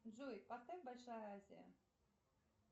джой поставь большая азия